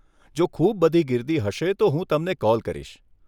જો ખૂબ બધી ગીર્દી હશે, તો હું તમને કોલ કરીશ.